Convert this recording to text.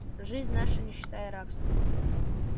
жизнь наша нищета и рабство